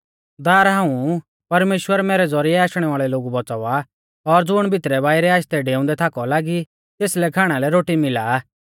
दार हाऊं ऊ परमेश्‍वर मैरै ज़ौरिऐ आशणै वाल़ै लोगु बौच़ावा आ और ज़ुण भितरैबाइरै आशदै डेउंदै थाका लौ लागी तेसलै खाणा लै रोटी मिला आ